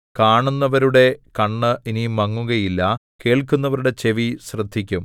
കാണുന്നവരുടെ കണ്ണ് ഇനി മങ്ങുകയില്ല കേൾക്കുന്നവരുടെ ചെവി ശ്രദ്ധിക്കും